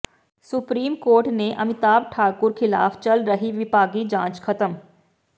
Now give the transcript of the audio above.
supreme court ਨੇ ਅਮਿਤਾਭ ਠਾਕੁਰ ਖ਼ਿਲਾਫ਼ ਚਲ ਰਹੀ ਵਿਭਾਗੀ ਜਾਂਚ ਖਤਮ